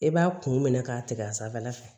I b'a kun minɛ k'a tigɛ a sanfɛla la fɛ